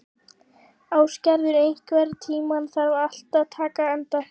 Ásgerður, einhvern tímann þarf allt að taka enda.